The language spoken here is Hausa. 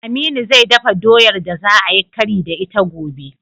Aminu zai dafa doyar da za ayi kari da ita a gobe.